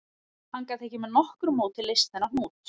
Hann gat ekki með nokkru móti leyst þennan hnút